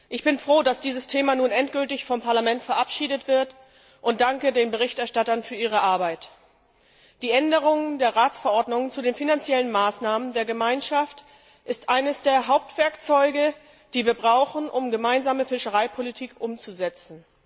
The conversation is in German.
Ich bin froh, dass dieses Thema nun endgültig vom Parlament verabschiedet wird, und danke den Berichterstattern für ihre Arbeit. Die Änderung der Ratsverordnung zu den finanziellen Maßnahmen der Gemeinschaft ist eines der Hauptwerkzeuge, das wir brauchen, um die Gemeinsame Fischereipolitik umzusetzen.